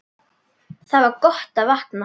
Það var gott að vakna.